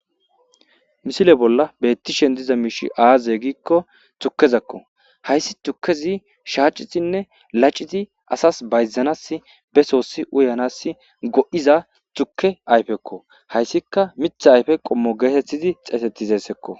misile bolla beettishen diza miishi aaze giikko tukkezakko hayssi tukkezi shaacitinne laciti asas bayzanas be soossi uyanas go7iza tuke ayfekko hayssika mitha ayfe qommo geetettizi xeetettizessekko